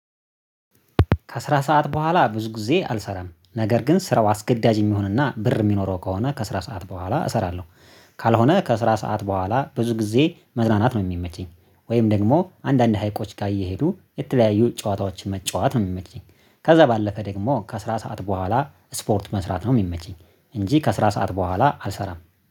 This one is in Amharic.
ከስራ ሰዓት በኋላ ብዙ ጊዜ አልሰራም ነገር ግን ስራው አስገዳጅ የሚሆንና ብር የሚኖረው ከሆነ ከስራ ሰዓት በኋላ እሰራለሁ። ካልሆነ ከስራ ሰዓት በኋላ ብዙ ጊዜ መዝናናት ነው የሚመቸኝ ወይም ደግሞ አንዳንድ ሀይቆች ጋር እየሄዱ የተለያዩ ጨዋታዎችን መጫወት ነው የሚመቸኝ ከዛ ባለፈ ደግሞ ከስራ ሰዓት በኋላ ስፖርት መስራት ነው የሚመቸኝ። እንጂ ከስራ ሰዓት በኋላ አልሰራም